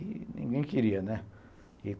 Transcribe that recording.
E ninguém queria, né?